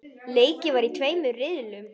Leikið var í tveimur riðlum.